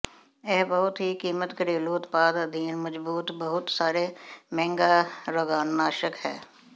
ਇਹ ਬਹੁਤ ਹੀ ਕੀਮਤ ਘਰੇਲੂ ਉਤਪਾਦ ਅਧੀਨ ਮਜ਼ਬੂਤ ਬਹੁਤ ਸਾਰੇ ਮਹਿੰਗਾ ਰੋਗਾਣੂਨਾਸ਼ਕ ਹੈ